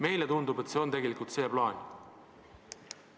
Meile tundub, et tegelikult see plaan teil on.